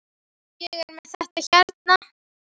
Ég er með þetta hérna.